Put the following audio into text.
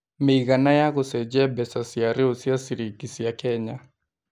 mĩigana ya gũcenjia mbeca cia rĩu cia ciringi cia kenya